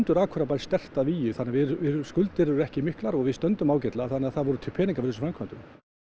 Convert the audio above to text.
Akureyrarbær sterkt að vígi þannig að skuldir eru ekki miklar og við stöndum ágætlega þannig að það voru til peningar fyrir þessum framkvæmdum